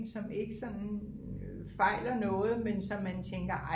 som ikke sådan fejler noget men som man tænker